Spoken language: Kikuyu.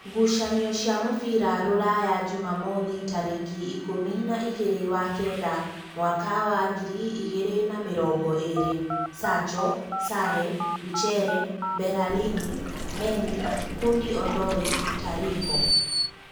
Ngucanio cia mũbira Rūraya Jumamothi tarĩki ikũmi na igĩrĩ wa kenda mwaka wa ngiri igĩrĩ na mĩrongo ĩrĩ: Sacho, Sare, Wichere, Mberarini, Mendi, Hundi-Ondoi, Tariko.